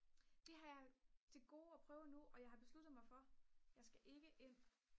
det har jeg til gode at prøve endnu og jeg har besluttet mig for jeg skal ikke ind